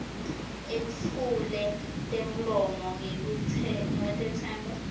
etfule temlomo ngekutetsemba